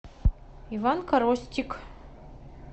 иван коростик